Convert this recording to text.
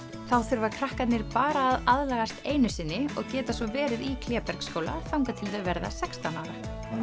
þá þurfa krakkarnir bara að aðlagast einu sinni og geta svo verið í Klébergsskóla þangað til þau verða sextán ára